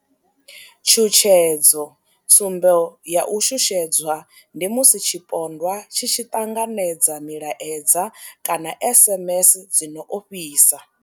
Tshutshedzo tsumbo ya u shushedzwa ndi musi tshipondwa tshi tshi ṱanganedza milaedza kana SMS dzi no ofhisa.